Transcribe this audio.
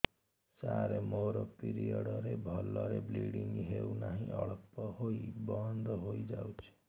ସାର ମୋର ପିରିଅଡ଼ ରେ ଭଲରେ ବ୍ଲିଡ଼ିଙ୍ଗ ହଉନାହିଁ ଅଳ୍ପ ହୋଇ ବନ୍ଦ ହୋଇଯାଉଛି